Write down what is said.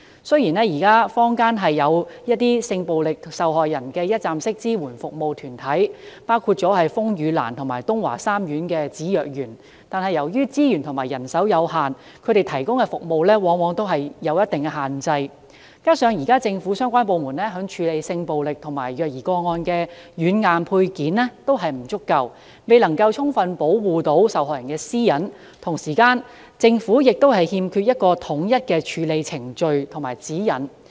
雖然現在坊間有一些性暴力受害人的一站式支援服務團體，包括風雨蘭及東華三院芷若園，但由於資源和人手有限，他們提供的服務往往有一定的限制，而且現時政府相關部門處理性暴力和虐兒個案的軟硬配件均不足夠，未能充分保護受害人的私隱，政府亦欠缺統一的處理程序和指引。